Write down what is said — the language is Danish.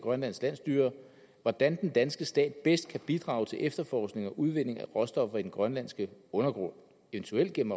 grønlandske landsstyre hvordan den danske stat bedst kan bidrage til efterforskning efter og udvinding af råstoffer i den grønlandske undergrund eventuelt gennem